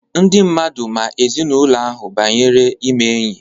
Ndị mmadụ ma ezinaụlọ ahụ banyere ime enyi.